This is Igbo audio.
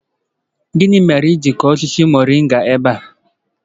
Gini mere i ji kuo osisi moringa ebe a?